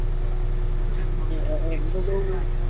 એમનું બહુ